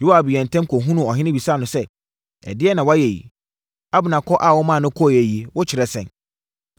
Yoab yɛɛ ntɛm kɔhunuu ɔhene bisaa no sɛ, “Ɛdeɛn na woayɛ yi? Abner kɔ a womaa no kɔeɛ yi, wokyerɛ sɛn?